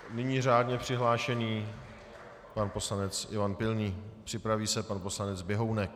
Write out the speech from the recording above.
Nyní řádně přihlášený pan poslanec Ivan Pilný, připraví se pan poslanec Běhounek.